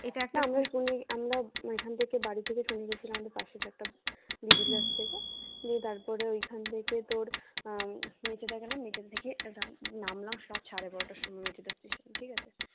এখান থেকে বাড়ি থেকে চলে গেছিলাম পাশের একটা দিদি আছে তারপরে ওই খান থেকে তোর আহ মেচেদা গেলাম মেচেদা থেকে নামলাম রাত সাড়ে বারোটার সময় মেচেদা station এ ঠিক আছে